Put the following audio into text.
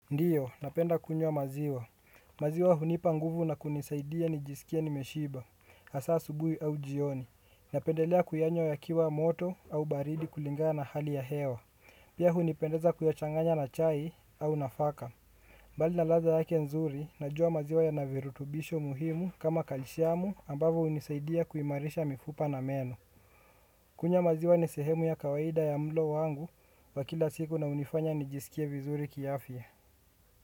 Ndio, napenda kunywa maziwa. Maziwa hunipa nguvu na kunisaidia nikijisikia nimeshiba, hasa asubuhi au jioni. Napendelea kuyanywa yakiwa moto au baridi kulingana na hali ya hewa. Pia hunipendeza kuyachanganya na chai au nafaka. Mbali na ladha yake nzuri, najua maziwa yana virutubisho muhimu kama calciumu ambavyo hunisaidia kuimarisha mifupa na meno. Kunywa maziwa ni sehemu ya kawaida ya mlo wangu wa kila siku na hunifanya nijisikia vizuri kiafya.